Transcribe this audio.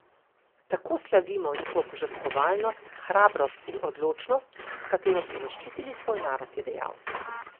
Tako slavimo njihovo požrtvovalnost, hrabrost in odločnost, s katero so zaščitili svoj narod, je dejal.